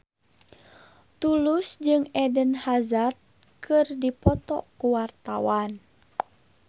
Tulus jeung Eden Hazard keur dipoto ku wartawan